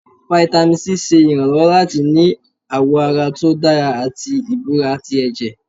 Vitamin c ṣe ìránlọwọ latí ní awọ àrà tó dárá atí ìbọrá tí ẹjẹ́.